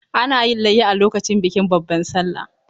Ana yin layya a lokacin bikin babban sallah.